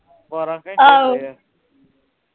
ਬਾਰਾਂ ਘੰਟੇ ਈ ਹੁੰਦੇ ਆ